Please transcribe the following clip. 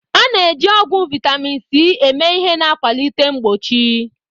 A na-eji ọgwụ vitamin C eme ihe na-akwalite mgbochi.